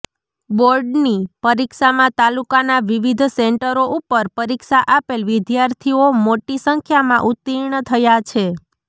બોર્ડની પરીક્ષામાં તાલુકાના વિવિધ સેન્ટરો ઉપર પરીક્ષા આપેલ વિદ્યાર્થીઓ મોટી સંખ્યામાં ઉત્તિર્ણ થયા છે